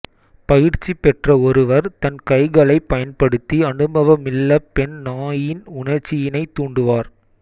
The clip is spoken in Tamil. பயிற்சி பெற்ற ஒருவர் தன் கைகளைப் பயன்படுத்தி அனுபவமில்ல பெண் நாயின் உணர்ச்சியினை தூண்டுவார்